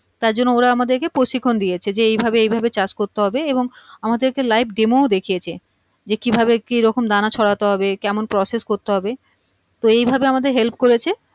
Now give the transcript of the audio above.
তার জন্য ওরা আমাদের কে প্রশিক্ষণ দিয়েছে যে এই ভাবে এই ভাবে চাষ করতে হবে এবং আমাদেরকে live-demo ও দেখিয়েছে যে কিভাবে কি রকম দানা ছড়াতে হবে কেমন process করতে হবে তো এই ভাবে আমাদের help করেছে